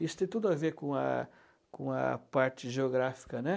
Isso tem tudo a ver com a com a parte geográfica, né?